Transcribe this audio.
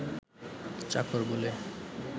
চাকর বললে